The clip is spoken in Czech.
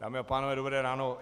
Dámy a pánové, dobré ráno.